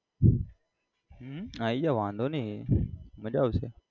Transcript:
હમ આઈ જા વાંધો નઈ મજા આવશે.